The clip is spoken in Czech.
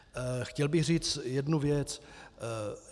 Chtěl bych říci jednu věc.